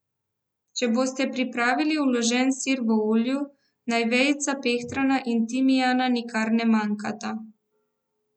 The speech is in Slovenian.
Če boste pripravili vložen sir v olju, naj vejica pehtrana in timijana nikar ne manjkata.